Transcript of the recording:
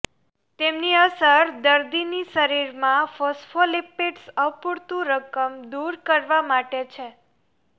તેમની અસર દર્દીની શરીરમાં ફોસ્ફોલિપિડ્સ અપુરતું રકમ દૂર કરવા માટે છે